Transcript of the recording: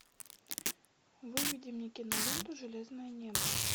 выведи мне киноленту железное небо